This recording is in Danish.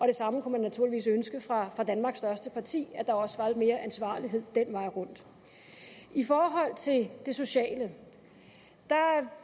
det samme kunne man naturligvis ønske fra danmarks største parti at der også var lidt mere ansvarlighed den vej rundt i forhold til det sociale